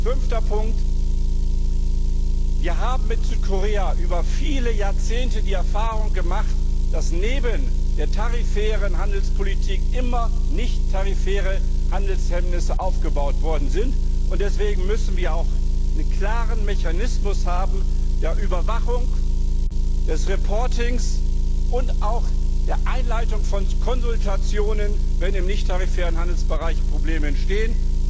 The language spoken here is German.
Fünfter Punkt Wir haben mit Südkorea über viele Jahrzehnte die Erfahrung gemacht, dass neben der tarifären Handelspolitik immer nichttarifäre Handelshemmnisse aufgebaut worden sind. Deswegen müssen wir auch einen klaren Mechanismus der Überwachung, der Berichterstattung und auch der Einleitung von Konsultationen haben, wenn im nichttarifären Handelsbereich Probleme entstehen.